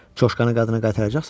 Coşkanı qadına qaytaracaqsanmı?